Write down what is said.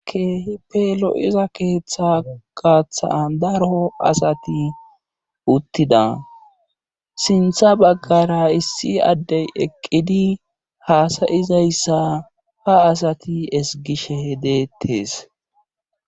Akehipeelo'iza keeththa gaaththa daro asati uttida sintha baggara issi addey eqqidi haasayizayssa ha asati esgishe hedeettes.